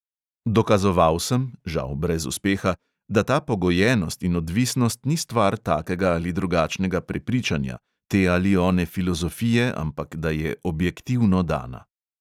Dokazoval sem – žal brez uspeha – da ta pogojenost in odvisnost ni stvar takega ali drugačnega prepričanja, te ali one filozofije, ampak da je objektivno dana.